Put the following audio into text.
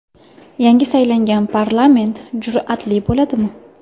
Yangi saylangan parlament jur’atli bo‘ladimi?